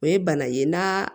O ye bana ye n'a